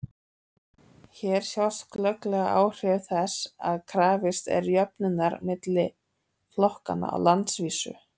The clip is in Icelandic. hér sjást glögglega áhrif þess að krafist er jöfnunar milli flokkanna á landsvísu